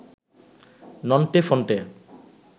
Nonte Phonte